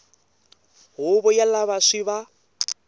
huvo ya lava swi va